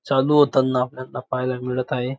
चालू होताना आपल्याला पाहायला मिळत आहे.